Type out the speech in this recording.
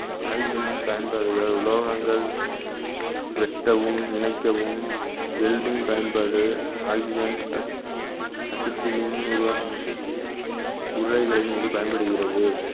oxygen னின் பயன்பாடுகள் உலோகங்கள் வெட்டவும் இணைக்கவும் வெல்டிங் பயன்பாடு oxygen ace~ acetylene ஒரு உருவா~ இங்கு பயன்படுகிறது